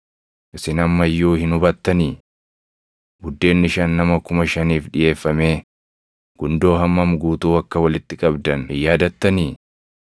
Isin amma iyyuu hin hubattanii? Buddeenni shan nama kuma shaniif dhiʼeeffamee gundoo hammam guutuu akka walitti qabdan hin yaadattanii?